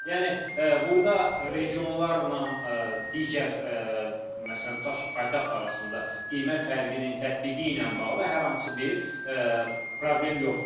Yəni burda regionlarla digər məsələn tutaq ki, paytaxt arasında qiymət fərqinin tətbiqi ilə bağlı hər hansı bir problem yoxdur.